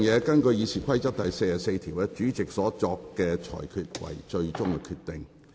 根據《議事規則》第44條，主席決定為最終決定。